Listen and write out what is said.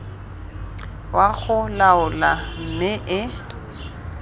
wa go laola mme e